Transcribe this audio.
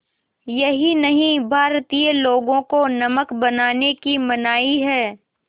यही नहीं भारतीय लोगों को नमक बनाने की मनाही है